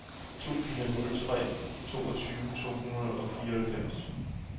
to fire nul tre toogtyve to hundrede og fireoghalvfems